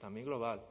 también global